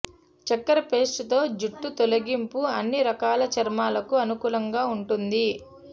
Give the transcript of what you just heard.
చక్కెర పేస్ట్ తో జుట్టు తొలగింపు అన్ని రకాల చర్మాలకు అనుకూలంగా ఉంటుంది